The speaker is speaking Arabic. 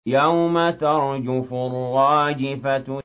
يَوْمَ تَرْجُفُ الرَّاجِفَةُ